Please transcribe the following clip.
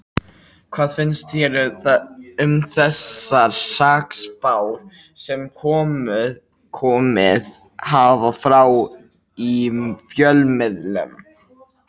Hvað finnst þér um þessar hrakspár sem komið hafa fram í fjölmiðlum?